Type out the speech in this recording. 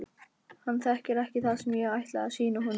Hann þekkir ekki það sem ég ætla að sýna honum.